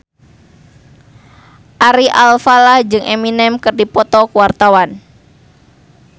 Ari Alfalah jeung Eminem keur dipoto ku wartawan